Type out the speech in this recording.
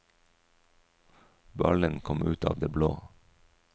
Ballen kom ut av det blå.